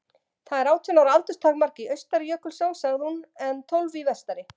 Það er átján ára aldurstakmark í austari Jökulsá, sagði hún, en tólf í vestari.